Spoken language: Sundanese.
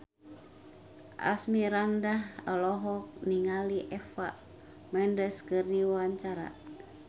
Asmirandah olohok ningali Eva Mendes keur diwawancara